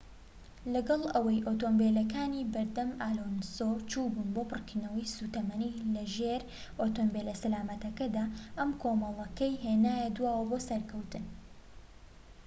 لەگەڵ ئەوەی ئۆتۆمبیلەکانی بەردەم ئەلۆنسۆ چووبوون بۆ پڕکردنەوەی سوتەمەنی لەژێر ئۆتۆمبیلە سەلامەتەکەدا ئەم کۆمەڵەکەی هێنایە دواوە بۆ سەرکەوتن